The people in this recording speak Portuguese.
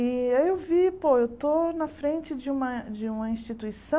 E aí eu vi, pô, eu estou na frente de uma de uma instituição